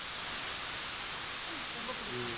உம் ரொம்ப பிடிக்கும்